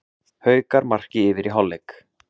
Haukar marki yfir í hálfleik